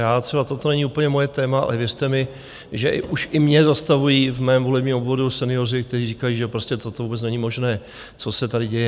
Já třeba - toto není úplně moje téma, ale věřte mi, že už i mě zastavují v mém volebním obvodu senioři, kteří říkají, že prostě toto vůbec není možné, co se tady děje.